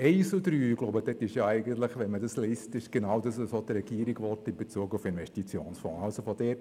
Zu den Punkten 1 und 3 möchte ich bemerken, dass es genau das ist, was die Regierung in Bezug auf Investitionsfonds will.